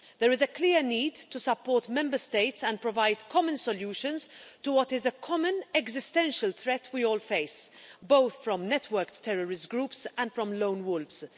There is a clear need to support Member States and provide common solutions to what is a common existential threat we all face, both from networked terrorist groups and from lone wolves.